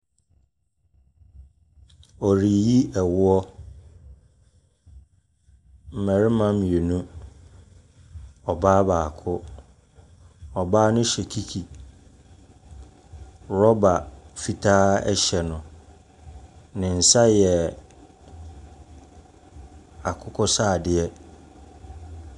Wɔreyi ɛwoɔ. Mmarima mmienu, ɔbaa baako, ɔbaa no hyɛ kiki. Rɔba fitaa ɛhyɛ no. Ne nsa yɛ akokɔsradeɛ.